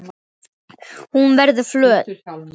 Hún verður flöt.